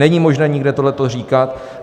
Není možné nikde tohleto říkat.